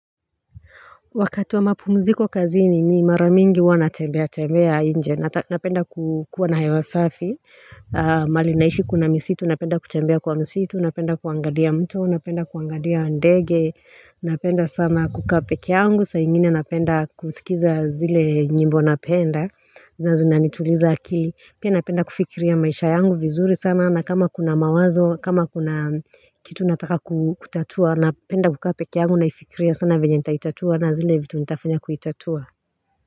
Wakati wa mapumziko kazi ni mimi maramingi huwa na tembea tembea nje. Napenda kukuwa na hewa safi. Mahali naishi kuna misitu, napenda kutembea kwa misitu, napenda kuangalia mto, napenda kuangalia ndege. Napenda sana kukapeke yangu, saa ingine napenda kusikiza zile nyimbo napenda. Na zina nituliza akili. Pia napenda kufikiria maisha yangu vizuri sana. Na kama kuna mawazo, kama kuna kitu nataka kutatua, napenda kukaa pekee yangu naifikiria sana vyenye nitaitatua. Na zile vitu nitafanya kuitatua.